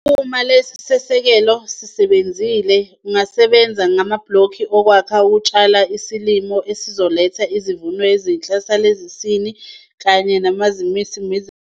Uma lesi sisekelo sesenziwe, usungasebenzi amabhlokhi okwakha okutshala isilimo esizoletha izivuno ezinhle zale sizini kanye nangamasizini amanye ezayo.